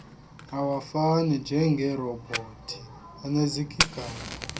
awafani njengerobhothi enezigaba